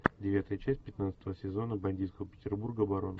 девятая часть пятнадцатого сезона бандитского петербурга барон